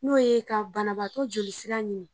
N'o ye ka banabatɔ joli sira ɲini.